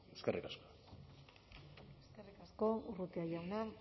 eskerrik asko eskerrik asko urrutia jauna